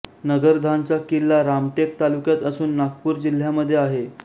नगरधाणचा किल्ला रामटेक तालुक्यात असून नागपूर जिल्ह्यामध्ये आहे